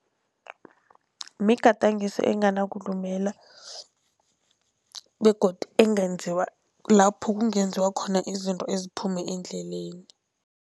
Migadangiso enganakulumela begodu ekungenziwa lapho kungenziwa khona izinto eziphume endleleni.